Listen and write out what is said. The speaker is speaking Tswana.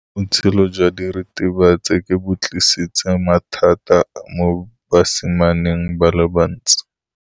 Botshelo jwa diritibatsi ke bo tlisitse mathata mo basimaneng ba bantsi.